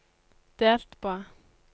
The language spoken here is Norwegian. delt på